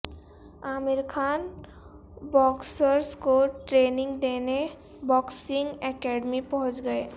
عامر Khan boxers کو training دینے boxing academy پہنچ گئے